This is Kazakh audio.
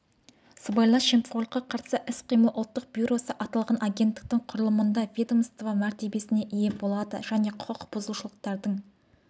сыбайлас жемқорлыққа қарсы іс-қимыл ұлттық бюросы аталған агенттіктің құрылымында ведомство мәртебесіне ие болады және құқық бұзушылықтардың